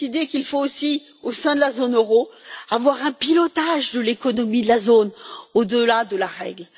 il faut aussi, au sein de la zone euro, avoir un pilotage de l'économie de la zone au delà de la règle.